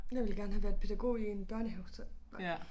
Jeg ville gerne havet været pædagog i en børnehave så nej